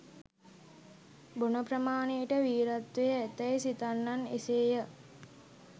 බොන ප්‍රමාණයට වීරත්වය ඇතැයි සිතන්නන් එසේය.